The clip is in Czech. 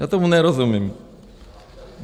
Já tomu nerozumím.